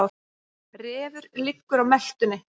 Refur liggur á meltunni.